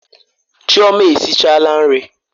Chioma esichala nri.